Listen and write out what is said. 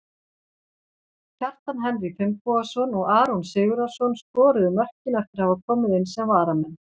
Kjartan Henry Finnbogason og Aron Sigurðarson skoruðu mörkin eftir að hafa komið inn sem varamenn.